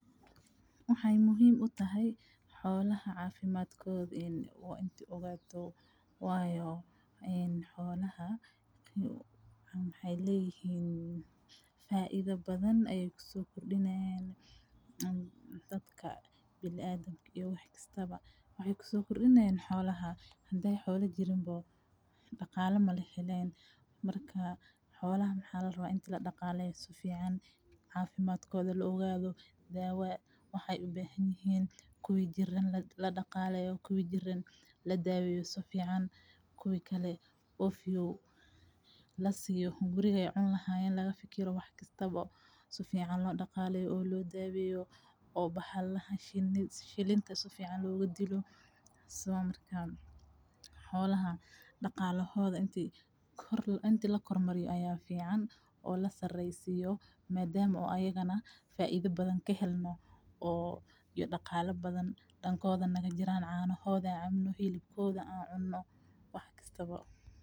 Waxay muhiim u tahay xoolaha cafimadkodha oo into ugaato wayo xoolaha waxay layihiin faidha badhan ay kusokordinayan daadka binadimka iyo waxkasta ba waxay kusokordinayan xoolaha haday xoola jirin ba daqalo malahelayo marka xoolaha mxaa larawa inta ladaqaleysto si fican cafimadkodha laoqadho dawa waxay ubahanyihiin kuwi jiran ladaqaleyo, kuwi jiran ladaweyo si fican kuwi kalo lasiyo hungurihi ay cuni lahayeen laga fakiro wax kastaba sa fican loo dagaleyo oo lodaweyo oo bahalaha shilinta sa fican looga dilo sidha marka xooloha daqalohodha inta lakormariyo aya fican oo lasareysiyo madama oo ayaga na faidha badhan kahelno oo daqala badhan dankodha nagajiran canohodh an cabno, xilibkodha an cuno.